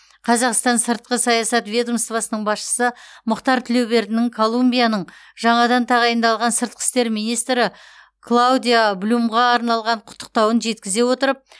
қазақстан сыртқы саясат ведомствоның басшысы мұхтар тілеубердінің колумбияның жаңадан тағайындалған сыртқы істер министрі клаудиа блюмға арналған құттықтауын жеткізе отырып